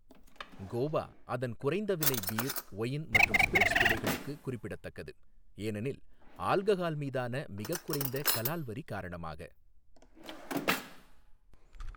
கோவா அதன் குறைந்த விலை பீர், ஒயின் மற்றும் ஸ்பிரிட்ஸ் விலைகளுக்கு குறிப்பிடத்தக்கது, ஏனெனில் ஆல்கஹால் மீதான மிகக் குறைந்த கலால் வரி காரணமாக.